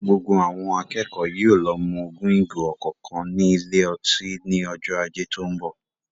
Gbogbo àwọn akẹ́kọ̀ọ́ yóò lọ mu ogún ìgò ọ̀kọ̀ọ̀kan ní ilé ọtí ní ọjọ́ Ajé tó ń bọ̀.